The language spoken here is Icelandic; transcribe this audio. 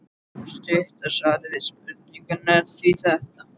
Stutta svarið við spurningunni er því þetta.